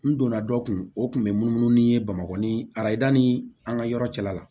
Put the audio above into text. N donna dɔ kun o kun bɛ munumunu ni n ye bamakɔ ni ayita ni an ka yɔrɔ cɛla la